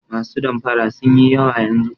Masu damfara sun yi yawa yanzu.